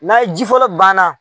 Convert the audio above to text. N'a ye ji fɔlɔ banna.